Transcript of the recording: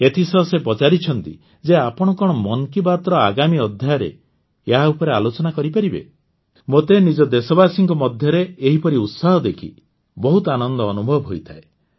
ଏଥିସହ ସେ ପଚାରିଛନ୍ତି ଯେ ଆପଣ କଣ ମନ୍ କୀ ବାତ୍ର ଆଗାମୀ ଅଧ୍ୟାୟରେ ଏହା ଉପରେ ଆଲୋଚନା କରିପାରିବେ ମୋତେ ନିଜ ଦେଶବାସୀଙ୍କ ମଧ୍ୟରେ ଏହିପରି ଉତ୍ସାହ ଦେଖି ବହୁତ ଆନନ୍ଦ ଅନୁଭବ ହୋଇଥାଏ